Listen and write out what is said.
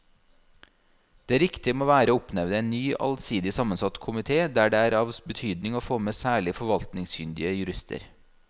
Det riktige må være å oppnevne en ny allsidig sammensatt komite der det er av betydning å få med særlig forvaltningskyndige jurister.